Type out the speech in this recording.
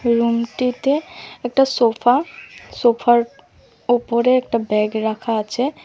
রুমটিতে একটা সোফা সোফার ওপরে একটা ব্যাগ রাখা আছে।